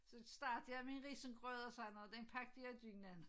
Så startede jeg med risengrød og sådan noget den pakkede jeg i dynen